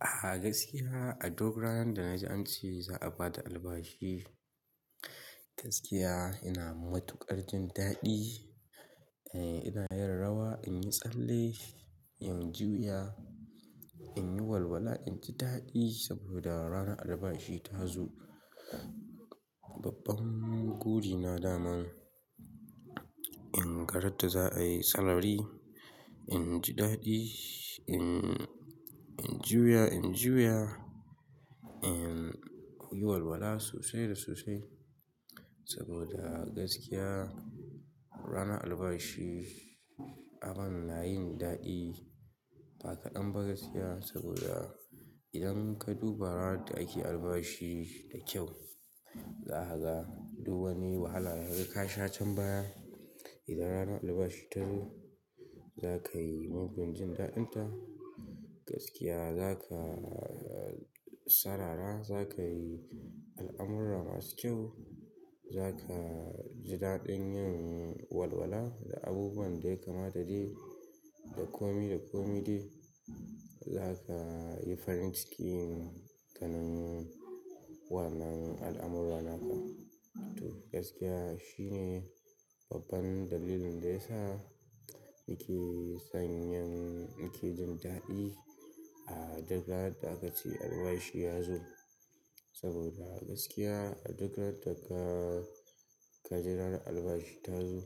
A gaskiya a duk ranan da na ji an ce za a bada albashi, gaskiya ina matukar jin daɗi. Eh ina yin rawa, in yi tsalle, in juya, in yi walwala, in ji daɗi saboda ranar albashi ta zo. Babban gori na daman in ga ran da za a yi sarari, in ji daɗi, in, in juya, in juya, in yi walwala sosai da sosai saboda gaskiya ranar albashi abin na yin daɗi. Ba kaɗan ba gaskiya saboda idan ka duba ranar da ake albashi da kyau, za a ga duk wani wahala daga ka sha can baya. Idan ranar albashi ta zo, za ka yi mugun jin daɗinta. Gaskiya za ka sarara, za ka yi al'amurra masu kyau, za ka ji daɗin yin walwala da abubuwan da ya kamata dai da komi da komi dai. Za ka yi farin cikin ganin wannan al'amurra naka. To gaskiya shine babban dalilin da ya sa nake son yin, nake jin daɗi a dogaran da aka ce albashi ya zo. Saboda gaskiya a dogaran da ka, ka ji ranar albashi ta zo,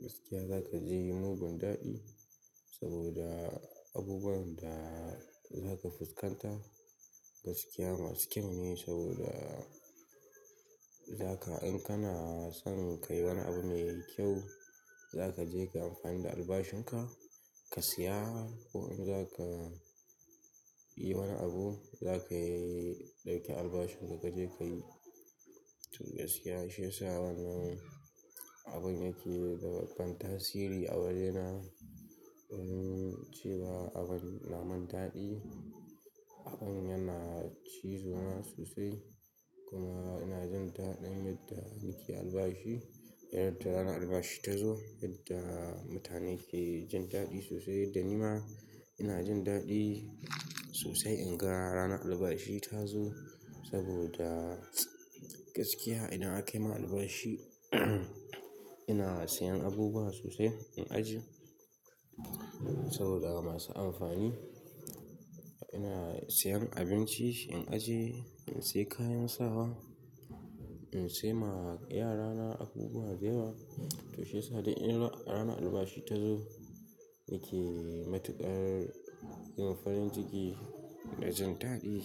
gaskiya za ka je yi mugun daɗi saboda abubuwan da za ka fuskanta gaskiya masu kyau ne saboda za ka in kana son ka yi wani abu mai kyau, za ka je ka amfani da albashin ka, ka siya. Ko in za ka yi wani abu za ka ɗauki albashin ka ka je ka yi. Toh gaskiya shi ya sa wannan abun yake da babban tasiri a wajena domin cewa abin na min daɗi. Abin yana cizo na sosai kuma ina jin daɗin yadda nake albashi. Yadda ranar albashi ta zo yadda mutane ke jin daɗi sosai da ni ma ina jin daɗi sosai in ga ranar albashi ta zo saboda gaskiya idan aka yi ma albashi ina siyan abubuwa sosai, in ajiye saboda masu amfani. Ina siyan abinci, in ajiye, in siya kayan sawa, in siya ma yarana abubuwa dayawa. To shi ya sa idan ranar albashi ta zo nake matukar yin farin ciki da jin daɗi.